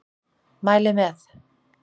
Mæli með.